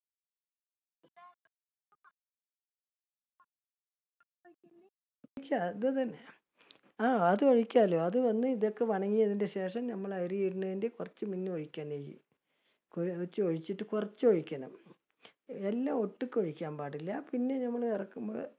ആ അത് ഒഴിക്കാലോ, അത് വന്ന് ഇതൊക്കെ ശേഷം ഞമ്മള് അരി ഇടണതിന്റെ കുറച്ചു മുന്നേ ഒഴിക്കാം നെയ്യ്. കുറച്ചൊഴിച്ചിട്ട്, കുറച്ച് ഒഴിക്കണം. എല്ലാം ഒട്ടുക്കെ ഒഴിക്കാൻ പാടില്ല. പിന്നെ ഞമ്മള്